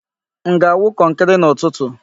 M ga-awu kọnkri n'ụtụtụ?